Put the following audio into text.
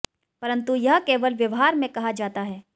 परंतु यह केवल व्यवहार मे कहा जाता है